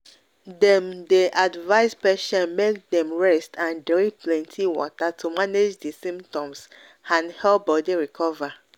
dem dey advise patients make dem rest and drink plenty water to manage di symptoms and help body recover."